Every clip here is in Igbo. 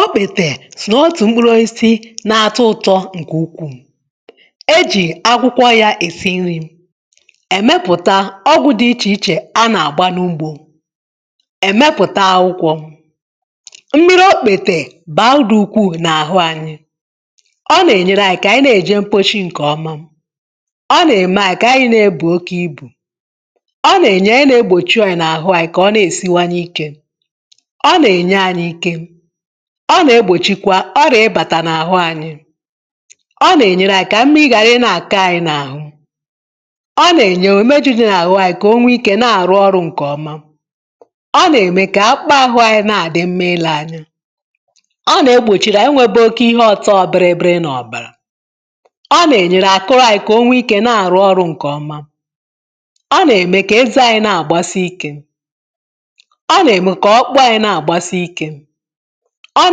Ọ kpètè sọ̀ nà otù m̀kpụrụ osisi na-atọ ụtọ ̇ ǹkè ukwuù. Ejì akwụkwọ ya èsi nri,̇ emepùta ọgwụ dị ichè ichè a nà-àgba n’ugbȯ, èmepùta akwụkwọ. Mmiri okpètè bàrà ụdị ukwuu n’àhụ anyị. Ọ nà-ènyere anyị kà ànyị nà-èje mkpochi ǹkèọma, ọ nà-ème anyị kà anyị nà-ebù oke ibù. Ọ nà-ènye e nà-egbòchi orịa n’àhụ anyị kà ọ nà-èsi wenye ikė. Ọ na-enye anyị ike. Ọ nà-egbòchikwa ọrịà ịbata n’àhụ anyị. Ọ nà-ènyere anyị kà m̀miri ghàrà i nà-akọ̀ anyị n’àhụ. Ọ nà-ènye o méju di n’àhụ anyị kà o nwee ikė na-àrụ ọrụ ǹkè ọma. Ọ nà-ème kà akpa ahụ anyị na-àdị mma ile anyi. Ọ nà-egbòchiri ànyị onwe, bụ ihe ọtọọ bịrị bịrị nà ọ̀bàrà. Ọ nà-ènyere àkụ rȧ anyị nwee ikė na-àrụ ọrụ ǹkè ọma. Ọ nà-ème kà ezè anyị na-àgbasi ikė. Ọ nà-ènye nà-ème ka ọkpụkpụ anyị na agbasi ike. Ọ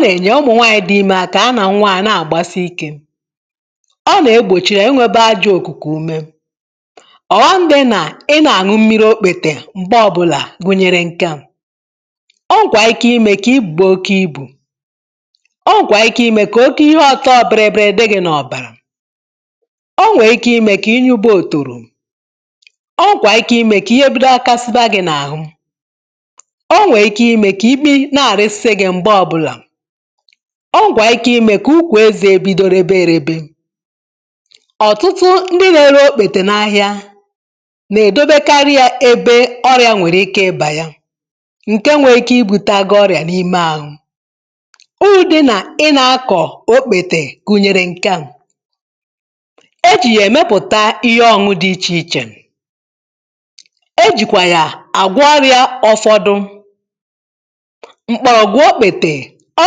nà-ènye ụmụ̀ nwanyị dị ime akà ya nà-nwa à na-àgbasi ikė. Ọ nà-egbòchiri enwėbė ajọ òkùkù ume. Ọ̀ghọm dị nà ị nà-àñụ mmiri okpètè m̀gbe ọbụlà wụnyere ǹke à; o nwèkwà ike ime kà ibùbè oke ibù. O nwèkwà ike ime kà oke ihe ọ̀tọọ bịrị bịrị dị gị nà ọ̀bàrà. O nwèrè ike ime kà ịnyuba òtoro. O nwèkwà ike ime kà ihe bụkasiba gị nà àhụ. Ọ ṅwee ike imė kà ịmị na-alisi gị mgbe ọbụla. Ọ nwee ike ime ka ụkwụ ezè ebido rebe erebe. Ọ̀tụtụ ndị na-ere okpètè n’ahịa nà-èdobekarị yȧ ebe ọrịà nwèrè ike ịbà yà ǹke nwee ike ibu tagoro ọrịà n’ime ȧhụ. Urù dị nà ị nà-akọ̀ okpètè gụ̀nyèrè ǹke à; ejì yà èmepùta ihe ọ̀nụ nụ̀ dị ichè ichè, e jìkwà yà àgwo ọrịȧ ọfọdụ. Mkpọrọgwụ okpètè, ọ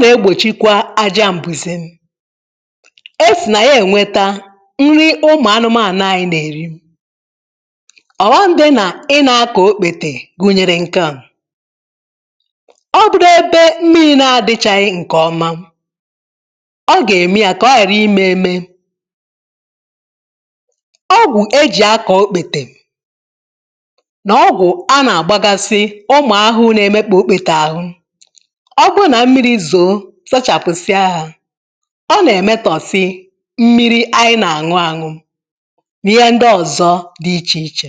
nà-egbòchikwa aja m̀bùzè. Esì nà ya ènweta nri ụmụ̀ anụmanụ̀ anyị nà-èri. Ọ̀ghọm dị nà ị nȧ-akọ̀ okpètè gụ̀nyere nke à; ọ bụdo ebe mmiri na-adịchaghị ǹkèọma, ọ gà-ème ya kà ọ yà ri imė eme. Ọgwụ e jì akọ̀ okpètè nà ọgwụ̀ a nà-àgbagasi ụmụ̀ ahụrụ na-eme kpa okpètè ahụ. Ọ bụrụ na mmiri zoo sachapụsịaha, ọ na emetọ si mmiri anyị na-aṅụ aṅụ n'ihe ndị ọzọ dị iche iche.